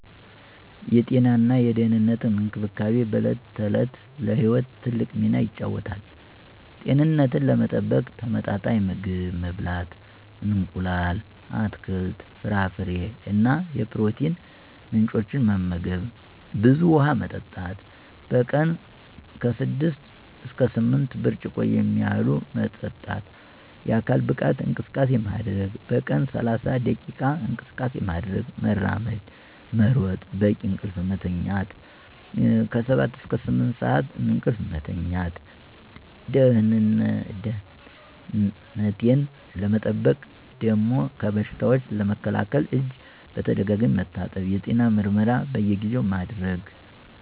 የጤናና የደህንነት እንክብካቤ በዕለት ተዕለት ለሕይወት ትልቅ ሚና ይጫወታል። ጤንነቴን ለመጠበቅ ተመጣጣኝ ምግብ መብላት: እንቁላል፣ አትክልት፣ ፍራፍሬ እና የፕሮቲን ምንጮች መመገብ፣ ብዙ ውሃ መጠጣት: በቀን 6–8 ብርጭቆ የሚያህሉ መጠጣት፣ የአካል ብቃት እንቅስቃሴ ማድረግ: በቀን 30 ደቂቃ እንቅስቃሴ ማድረግ (መራመድ፣ መሮጥ) ፣ በቂ እንቅልፍ መተኛት 7–8 ሰዓት እንቅልፍ መተኛት። ደህነቴን ለመጠበቅ ደሞ ከበሽታዎች ለመከላከል እጅ በተደጋጋሚ መታጠብ፣ የጤና ምርመራ በየጊዜው ማድረግ።